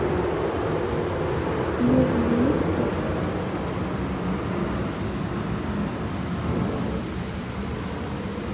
нужен вискас три пакетика